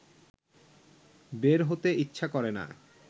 বের হতে ইচ্ছা করে না